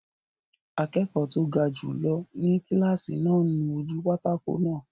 Akẹ́kọ̀ọ́ tó ga jùlọ ni kílásì náà ń nu ojú pátákó náà